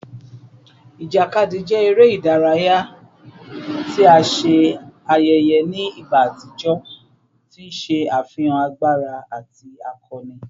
Ijakadi jẹ ere idaraya ti a ṣe ayẹyẹ ni igba atijọ, ti n ṣe afihan agbara ati akọni